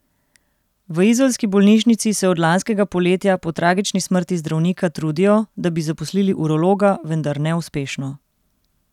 V izolski bolnišnici se od lanskega poletja, po tragični smrti zdravnika, trudijo, da bi zaposlili urologa, vendar neuspešno.